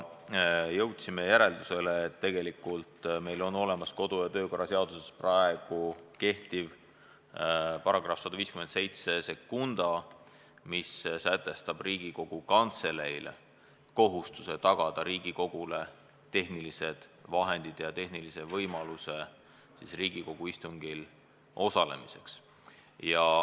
Jõudsime järeldusele, et tegelikult meil on olemas kodu- ja töökorra seaduses praegu kehtiv § 1572, mis sätestab Riigikogu Kantseleile kohustuse tagada Riigikogule tehnilised vahendid ja tehnilise võimaluse istungil osalemiseks.